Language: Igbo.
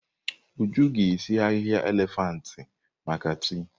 Uju ga-esi ahihia elefantị maka tii.